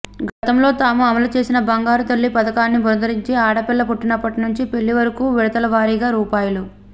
గతంలో తాము అమలు చేసిన బంగారుతల్లి పథకాన్ని పునరుద్ధరించి ఆడపిల్ల పుట్టినప్పటి నుంచి పెళ్లి వరకు విడతలవారీగా రూ